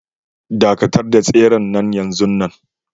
Dakatar da tseren nan yanzun nan